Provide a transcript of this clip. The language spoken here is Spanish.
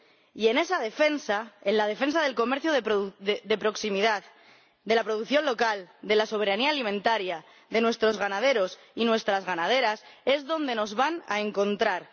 Y en esa defensa, en la defensa del comercio de proximidad, de la producción local, de la soberanía alimentaria, de nuestros ganaderos y nuestras ganaderas es donde nos van a encontrar.